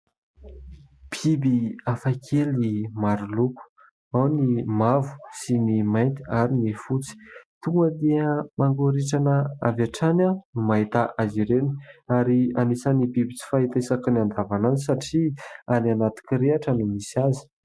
Biby hafakely maro loko, ao ny mavo sy ny mainty ary ny fotsy. Tonga dia mangoritsina avy hatrany aho vao mahita azy ireny ary anisany biby tsy fahita isaky ny andavanadro satria any anaty kirihitra no misy azy.